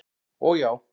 og já.